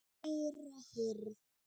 Kæra hirð.